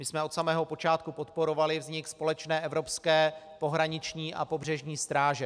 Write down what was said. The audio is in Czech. My jsme od samého počátku podporovali vznik společné evropské pohraniční a pobřežní stráže.